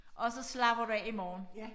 Og så slapper du af i morgen